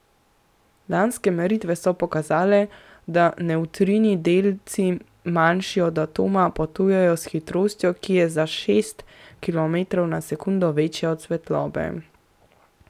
Lanske meritve so pokazale, da nevtrini, delci, manjši od atoma, potujejo s hitrostjo, ki je za šest kilometrov na sekundo večja od svetlobe.